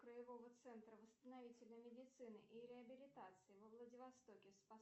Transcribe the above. краевого центра восстановительной медицины и реабилитации во владивостоке